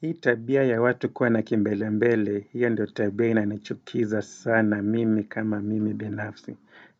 Hii tabia ya watu kuwa na kimbelembele hiyo ndio tabia na anachukiza sana mimi kama mimi binafsi.